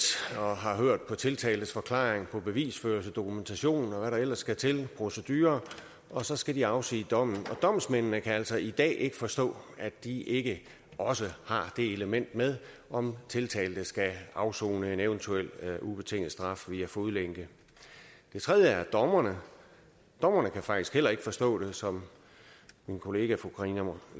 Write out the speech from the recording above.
og har hørt på tiltaltes forklaring på bevisførelsesdokumentationen og hvad der ellers skal til i procedure og så skal de afsige dommen domsmændene kan altså i dag ikke forstå at de ikke også har det element med om tiltalte skal afsone en eventuel ubetinget straf via fodlænke det tredje er dommerne dommerne kan faktisk heller ikke forstå det som min kollega fru karina